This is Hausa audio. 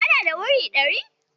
Kana da wuri ɗari?